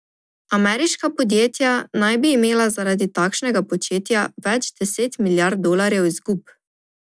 Ameriška podjetja naj bi imela zaradi takšnega početja več deset milijard dolarjev izgub.